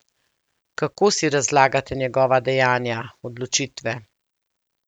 Kako si razlagate njegova dejanja, odločitve?